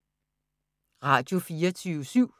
Radio24syv